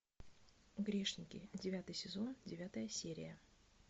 грешники девятый сезон девятая серия